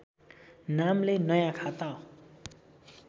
नामले नयाँ खाता